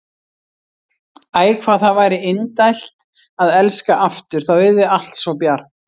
Æ, hvað það væri indælt að elska aftur, þá yrði allt svo bjart.